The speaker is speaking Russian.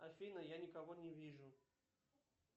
афина я никого не вижу